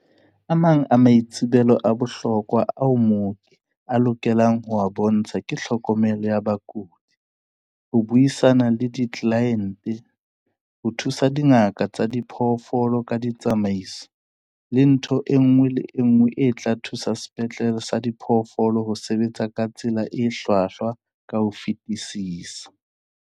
"A mang a maitsebelo a bohlokwa ao mooki a lokelang ho a bontsha ke tlhokomelo ya bakudi, ho buisana le ditlelaente, ho thusa dingaka tsa diphoofolo ka ditsamaiso, le ntho e nngwe le e nngwe e tla thusa sepetlele sa diphoofolo ho sebetsa ka tsela e hlwahlwa ka ho fetisisa."